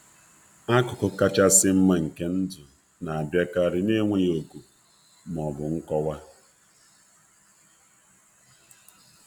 Akụkụ kachasị nma nke ndụ na-abịakarị n'enweghị òkù ma ọ bụ nkọwa.